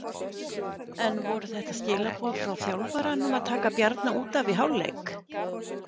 En voru þetta skilaboð frá þjálfaranum að taka Bjarna útaf í hálfleik?